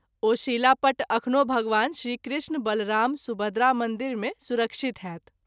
ओ शिलापट्ट अखनो भगवान श्री कृष्ण-बलराम-सुभद्रा मंदिर मे सुरक्षित होएत।